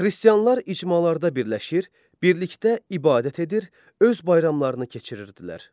Xristianlar icmalarda birləşir, birlikdə ibadət edir, öz bayramlarını keçirirdilər.